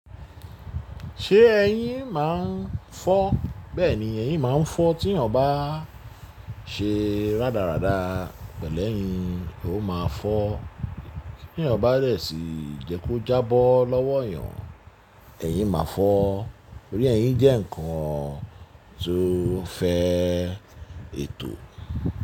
Ṣé ẹ̀yin máa ń fọ́? Bẹ́ẹ̀ni, ẹ̀yin máa ń fọ́ tí ènìyàn bá ṣe rárádá pẹ̀lú ẹ̀yin, ó máa fọ́. Tí ènìyàn bá rẹ̀ sì jẹ́ kó jábọ́ lọ́wọ́ ènìyàn, ẹyin máa fọ́. Nítorí ẹyin jẹ́ ǹkan tó fẹ́ ètò.